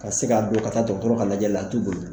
Ka se ka don ka taa dɔgɔtɔrɔ ka lajɛlila a t'u boli